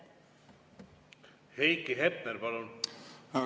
Heiki Hepner, palun!